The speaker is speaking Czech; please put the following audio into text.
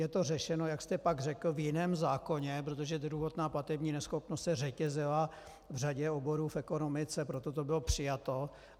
Je to řešeno, jak jste pak řekl, v jiném zákoně, protože druhotná platební neschopnost se řetězila v řadě oborů v ekonomice, proto to bylo přijato.